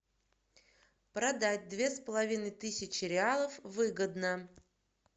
продать две с половиной тысячи реалов выгодно